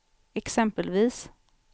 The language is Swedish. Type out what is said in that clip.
exempelvis